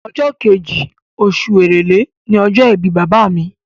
Ọjọ́ kejì, osù èrèlé ni ọjọ́ ìbí bàbá mi